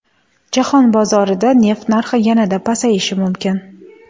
Jahon bozorida neft narxi yanada pasayishi mumkin.